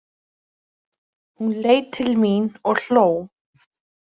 Hún leit til mín og hló.